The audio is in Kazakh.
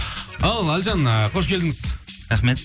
ал әліжан ыыы қош келдіңіз рахмет